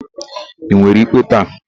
Ị nwere ikpe taa?